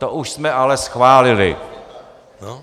To už jsme ale schválili.